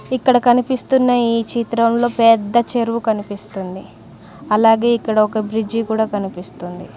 ఇక్కడ కనిపిస్తున్న ఈ చిత్రంలో పెద్ద చెరువు కనిపిస్తుంది అలాగే ఇక్కడ ఒక బ్రిడ్జి కూడా కనిపిస్తుంది.